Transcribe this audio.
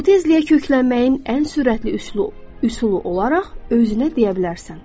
Bu tezliyə köklənməyin ən sürətli üslub, üsulu olaraq özünə deyə bilərsən.